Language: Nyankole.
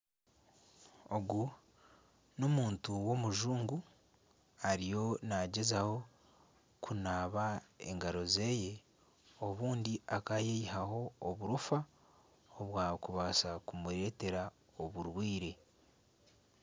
Ogu n'omuntu w'omujungu ariyo nagyezaho kunaba engaro zeye obundi akayeyihaho oburoofa obwakubaasa kumureetera oburwaire .